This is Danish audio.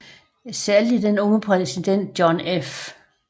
Særlig den unge præsident John F